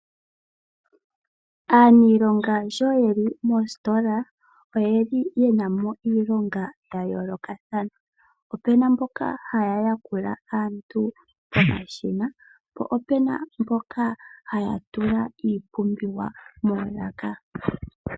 Aanilonga sho yeli moositola oye li ye namo iilonga ya yoolokathana pu na mboka haya yakula aantu pomashina po opu na mboka haya tula iipumbiwa moolaka.